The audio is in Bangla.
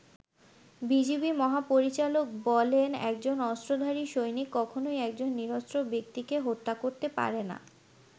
বিজিবি মহাপরিচালক বলেন, একজন অস্ত্রধারী সৈনিক কখনোই একজন নিরস্ত্র ব্যক্তিকে হত্যা করতে পারেনা।